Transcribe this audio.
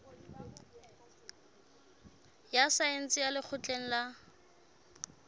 ya saense ya lekgotleng la